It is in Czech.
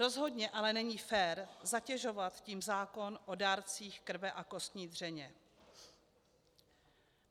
Rozhodně ale není fér zatěžovat tím zákon o dárcích krve a kostní dřeně.